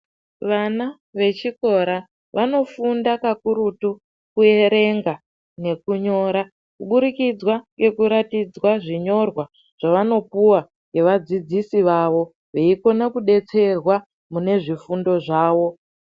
Vana vechikora vanofunda kakurutu kuerenga nekunyora kuburikidza nekurakidzwa zvinyorwa zvavanopuwa nevadzidzisi vavo veikona kudetserwa mune zvifuno zvavo.